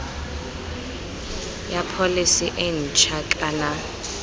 ya pholese e ntšha kana